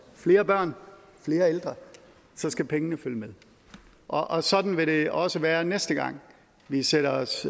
flere børn og flere ældre så skal pengene følge med og sådan vil det også være næste gang vi sætter os